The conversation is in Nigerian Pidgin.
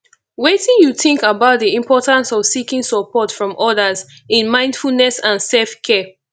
wetin you think about di importance of seeking support from odas in mindfulness and selfcare